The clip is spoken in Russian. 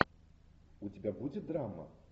у тебя будет драма